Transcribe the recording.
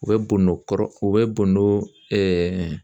U bɛ bondo kɔrɔ u bɛ bondo ɛɛ